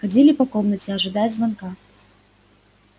ходили по комнате ожидая звонка